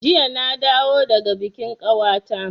Jiya na dawo daga bikin kawata